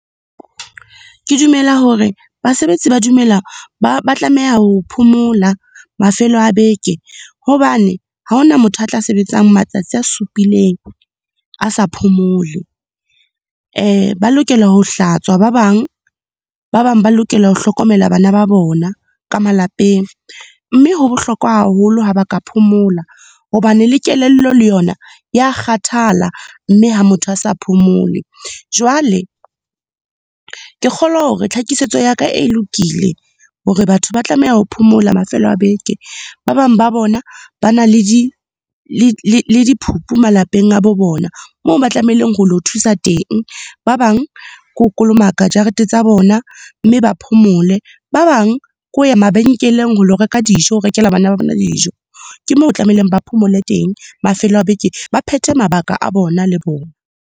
Ke dumela hore basebetsi ba dumela, ba tlameha ho phomola mafelo a beke, hobane ha hona motho a tla sebetsang matsatsi a supileng a sa phomole. Ba lokela ho hlatswa ba bang, ba bang ba lokela ho hlokomela bana ba bona ka malapeng. Mme ho bohlokwa haholo ha ba ka phomola hobane le kelello le yona ya kgathala, mme ha motho a sa phomole. Jwale, ke kgolwa hore tlhakisetso ya ka e lokile hore batho ba tlameha ho phomola mafelo a beke. Ba bang ba bona, ba na le le diphupu malapeng a bo bona, moo ba tlamehileng ho lo thusa teng. Ba bang, ke ho kolomaka jarete tsa bona, mme ba phomole. Ba bang, ke ho ya mabenkeleng ho lo reka dijo, ho rekela bana ba bona dijo. Ke moo ho tlamehileng ba phomole teng mafelo a beke, ba phethe mabaka a bona le bona.